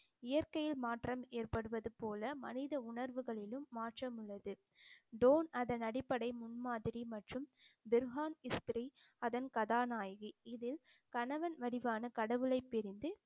இயற்கையில் மாற்றம் ஏற்படுவது போல மனித உணர்வுகளிலும் மாற்றம் உள்ளது டோன் அதன் அடிப்படை முன்மாதிரி மற்றும் திர்ஹான் இஸ்திரி அதன் கதாநாயகி இதில் கணவன் வடிவான கடவுளை பிரிந்து